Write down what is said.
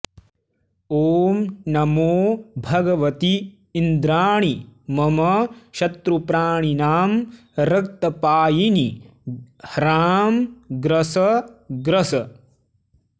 ॐ नमो भगवति इन्द्राणि मम शत्रुप्राणिनां रक्तपायिनि ह्रां ग्रस ग्रस